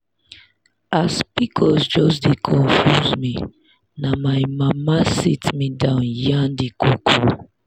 as pcos just dey confuse me na my mama sit me down yarn the koko.